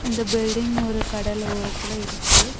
இந்த பில்டிங் ஒரு கடலோரத்துல இருக்கு.